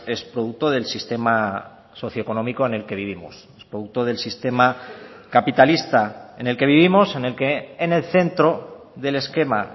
es producto del sistema socio económico en el que vivimos es producto del sistema capitalista en el que vivimos en el que en el centro del esquema